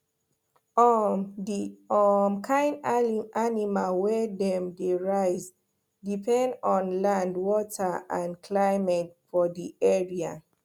um the um kind animal wey dem dey raise depend on land water and climate for di area